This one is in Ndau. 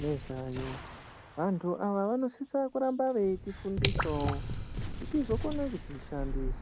nezvayo. Vantu ava vanosisa kuramba veitifundisawo kuti tizokona kudzishandisa.